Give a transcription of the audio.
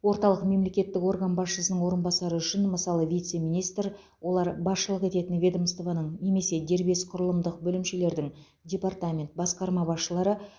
орталық мемлекеттік орган басшысының орынбасары үшін мысалы вице министр олар басшылық ететін ведомствоның немесе дербес құрылымдық бөлімшелердің департамент басқарма басшылары